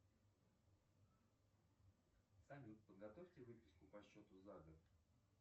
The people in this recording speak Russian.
салют подготовьте выписку по счету за год